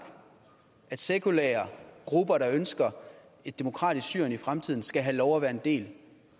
at sekulære grupper der ønsker et demokratisk syrien i fremtiden skal have lov at være en del